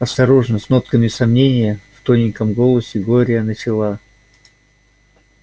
осторожно с нотками сомнения в тоненьком голосе глория начала